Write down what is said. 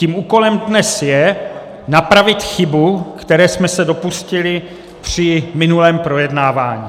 Tím úkolem dnes je napravit chybu, které jsme se dopustili při minulém projednávání.